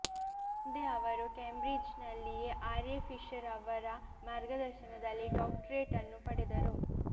ಮುಂದೆ ಅವರು ಕಾಂಬ್ರಿಜ್ಜಿನಲ್ಲಿಯೇ ಆರ್ ಎ ಫಿಷರ್ ಅವರ ಮಾರ್ಗದರ್ಶನದಲ್ಲಿ ಡಾಕ್ಟೊರೇಟ್ ಅನ್ನು ಪಡೆದರು